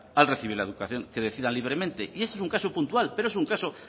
al recibir la educación que decidan libremente y ese es un caso puntual pero es un caso